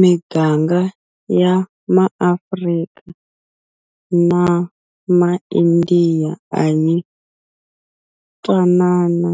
Miganga ya maAfrika na maIndiya a yi twanana